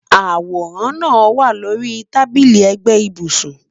Aworan naa wa lori tabili ẹgbẹ ibusun